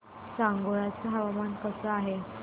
सांगोळा चं हवामान कसं आहे